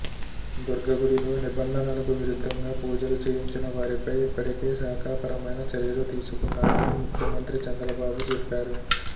దుర్గగుడిలో నిబంధనలకు విరుద్ధంగా పూజలు చేయించిన వారిపై ఇప్పటికే శాఖాపరమైన చర్యలు తీసుకున్నామని ముఖ్యమంత్రి చంద్రబాబు చెప్పారు